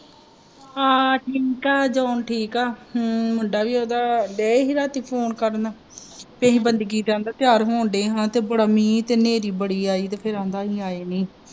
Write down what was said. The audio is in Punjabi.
ਹਾਂ ਠੀਕ ਆ ਜੌਹਨ ਠੀਕ ਆ ਹਮ ਮੁੰਡਾ ਵੀ ਓਹਦਾ ਦਏ ਹੀ ਰਾਤੀ phone ਕਰਨ ਕਿਹੇ ਬੰਦਗੀ ਦਾ ਆਂਦਾ ਤਿਆਰ ਹੋਣ ਦੇ ਹਾਂ ਤੇ ਬੜਾ ਮੀਹ ਤੇ ਹਨੇਰੀ ਬੜੀ ਆਈ ਫਿਰ ਆਂਦਾ ਅਹੀ ਆਏ ਨੀ